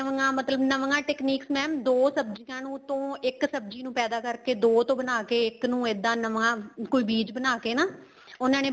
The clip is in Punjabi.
ਨਵੀਆਂ ਮਤਲਬ ਨਵੀਆਂ techniques mam ਦੋ ਸਬਜੀਆਂ ਨੂੰ ਉੱਤੋ ਇੱਕ ਸਬਜ਼ੀ ਨੂੰ ਪੈਦਾ ਕਰਕੇ ਦੋ ਤੋ ਬਣਾਕੇ ਇੱਕ ਨੂੰ ਇੱਦਾਂ ਨਵਾਂ ਕੋਈ ਬੀਜ ਬਣਾਕੇ ਨਾ ਉਹਨਾ ਨੇ